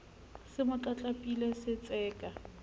se mo tlatlapile se tseka